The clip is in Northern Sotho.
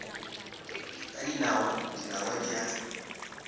ka dinawa dinawa di a